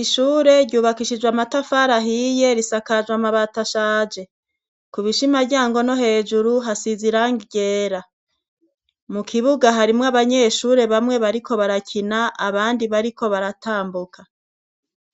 Ishure ryubakishijwe amatafari ahiye, risakajwe amabati ashaje. Ku bishimaryango no hejuru hasize irangi ryera . Mu kibuga harimwo abanyeshure bamwe bariko barakina, abandi bariko baratambuka.